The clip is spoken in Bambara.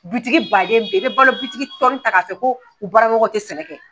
Bitigi baden i bɛ balo bitigi tɔ ta k'a fɔ ko u bara ɲɔgɔnw tɛ sɛnɛ kɛ.